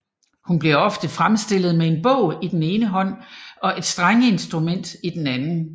Hun bliver ofte fremstillet med en bog i den ene hånd og et strengeinstrument i den anden